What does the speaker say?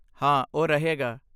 ਹਾਂ, ਉਹ ਰਹੇਗਾ।